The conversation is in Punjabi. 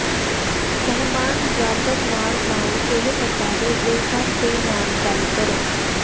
ਮਹਿਮਾਨ ਬਰਾਬਰ ਨਾਲ ਨਾਲ ਇਹ ਅਦਾਰੇ ਦੇ ਹਰ ਦੇ ਨਾਲ ਗੱਲ ਕਰੋ